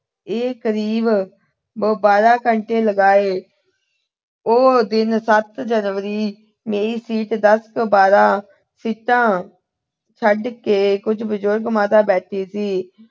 ਅਹ ਇਹ ਕਰੀਬ ਬ ਅਹ ਬਾਰਾਂ ਘੰਟੇ ਲਗਾਏ। ਉਹ ਦਿਨ ਦਸ ਜਨਵਰੀ, ਮੇਰੀ ਸੀਟ ਤੋਂ ਦਸ ਬਾਰਾਂ ਸੀਟਾਂ ਛੱਡ ਕੇ ਇੱਕ ਬਜੁਰਗ ਮਾਤਾ ਬੈਠੀ ਸੀ।